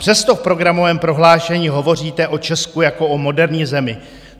Přesto v programovém prohlášení hovoříte o Česku jako o moderní zemi.